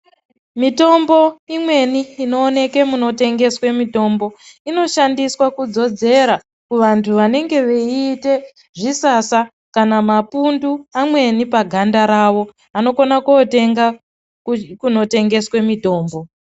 Mitombo imweni inooneke munotengeswe mitombo inoshandiswa kudzodzera kuvantu vanenge veiite zvisasa kana mapundu amweni paganda ravo, vanokona kotenga kunotengeswe mitombo.